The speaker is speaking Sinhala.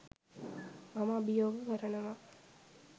මම අභියෝග කරනවා